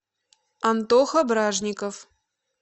антоха бражников